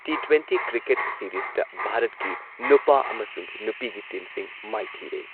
T twenty cricket ꯁꯤꯔꯤꯁꯇ ꯚꯥꯔꯠꯀꯤ ꯅꯨꯄꯥ ꯑꯃꯁꯨꯡ ꯅꯨꯄꯤꯒꯤ ꯇꯤꯝꯁꯤꯡ ꯃꯥꯏꯊꯤꯔꯦ꯫